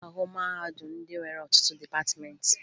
Ị ga-ahụ mahadum ndị nwere ọtụtụ dịpatịmeentị